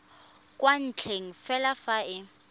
kwa ntle fela fa e